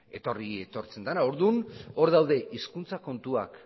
etortzen dena orduan hor daude hizkuntza kontuak